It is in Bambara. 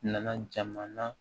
Nana jamana